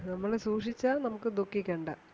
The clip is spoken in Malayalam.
നമ്മൾ സൂക്ഷിച്ചാൽ നമുക്കു ദുഖിക്കണ്ട